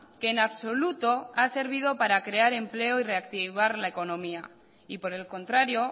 que en absoluto ha servido para crear empleo y reactivar la economía y por el contrario